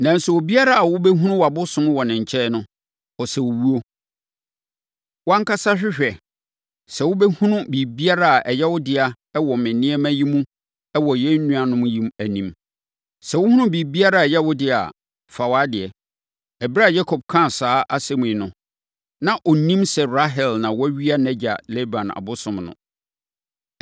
Nanso, obiara a wobɛhunu wʼabosom no wɔ ne nkyɛn no, ɔsɛ owuo. Wʼankasa hwehwɛ, sɛ wobɛhunu biribiara a ɛyɛ wo dea wɔ me nneɛma yi mu wɔ yɛn nuanom yi anim. Sɛ wohunu biribiara a ɛyɛ wo dea a, fa wʼadeɛ.” Ɛberɛ a Yakob kaa saa asɛm yi no, na ɔnnim sɛ Rahel na wawia nʼagya Laban abosom no.